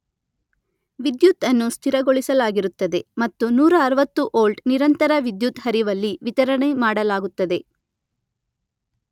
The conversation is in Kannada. ವಿದ್ಯುತ್ ಅನ್ನು ಸ್ಥಿರಗೊಳಿಸಲಾಗಿರುತ್ತದೆ ಮತ್ತು ನೂರ ಅರುವತ್ತು ವೋಲ್ಟ್ ನಿರಂತರ ವಿದ್ಯುತ್ ಹರಿವಲ್ಲಿ ವಿತರಣೆ ಮಾಡಲಾಗುತ್ತದೆ.